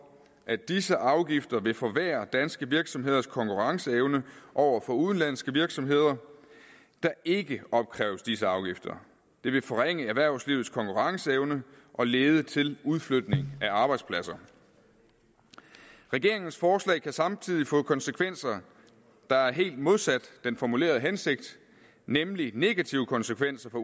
at disse afgifter vil forværre danske virksomheders konkurrenceevne over for udenlandske virksomheder der ikke opkræves disse afgifter det vil forringe erhvervslivets konkurrenceevne og lede til udflytning af arbejdspladser regeringens forslag kan samtidig få konsekvenser der er helt modsat den formulerede hensigt nemlig negative konsekvenser for